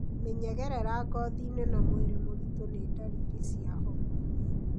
Mĩnyegerera ngothiinĩ na mwĩrĩ mũritũ nĩ ndariri cia homa.